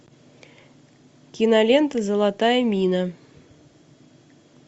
кинолента золотая мина